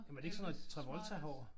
Jamen er det ikke sådan noget Travolta-hår?